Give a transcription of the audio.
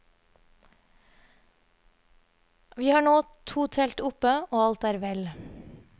Vi har nå to telt oppe, og alt er vel.